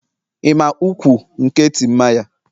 Ị ma ukwu; nke Timaya?